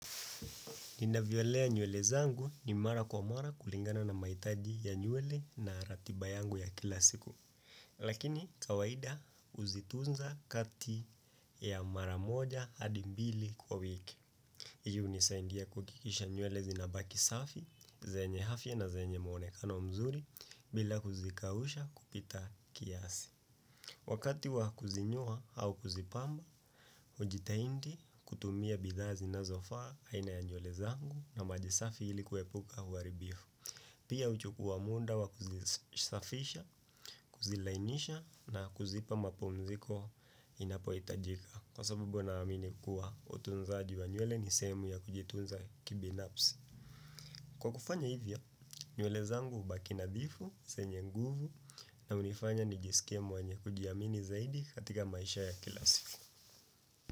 Ninavyolea nywele zangu ni mara kwa mara kulingana na maitaji ya nywele na ratiba yangu ya kila siku. Lakini kawaida uzitunza kati ya mara moja hadi mbili kwa wiki. Hii unisaindia kuhakikisha nywele zinabaki safi, zenye hafia na zenye mwonekano mzuri bila kuzikausha kupita kiasi. Wakati wa kuzinyoa au kuzipamba, ujitaindi kutumia bidhaa zinazofaa haina ya nywele zangu na maji safi hili kuepuka huaribifu. Pia uchukua munda wa kuzisafisha, kuzilainisha na kuzipa mapumziko inapoitajika. Kwa sababu naamini kuwa, utunzaji wa nyule ni sehemu ya kujitunza kibinapsi. Kwa kufanya hivyo, nywele zangu hubaki nadhifu, senye nguvu na unifanya nijisikie mwenya kujiamini zaidi katika maisha ya kila siku.